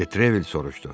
Detrevel soruşdu.